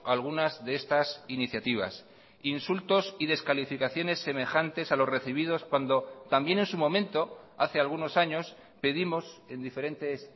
algunas de estas iniciativas insultos y descalificaciones semejantes a los recibidos cuando también en su momento hace algunos años pedimos en diferentes